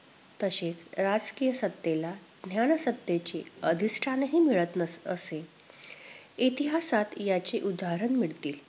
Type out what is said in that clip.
तसेच राजकीय सत्तेला ज्ञान सत्तेचे अधिष्ठानही मिळत न~असे. इतिहासात याची उदाहरणं मिळतील.